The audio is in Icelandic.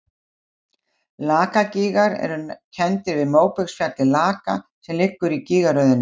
Lakagígar eru kenndir við móbergsfjallið Laka sem liggur í gígaröðinni.